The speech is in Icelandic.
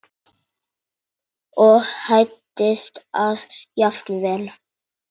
og hæddist að jafnvel